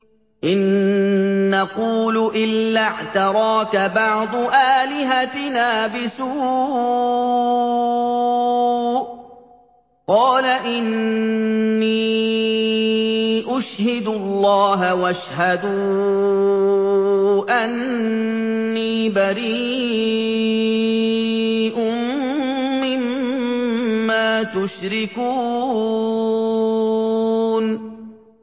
إِن نَّقُولُ إِلَّا اعْتَرَاكَ بَعْضُ آلِهَتِنَا بِسُوءٍ ۗ قَالَ إِنِّي أُشْهِدُ اللَّهَ وَاشْهَدُوا أَنِّي بَرِيءٌ مِّمَّا تُشْرِكُونَ